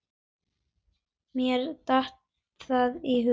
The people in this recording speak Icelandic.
Mér datt það í hug!